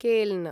केल्न